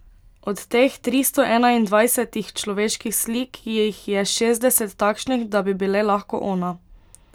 Od teh tristo enaindvajsetih človeških slik jih je šestdeset takšnih, da bi bile lahko ona.